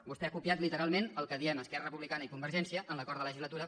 vostè ha copiat literalment el que diem esquerra republicana i convergència en l’acord de legislatura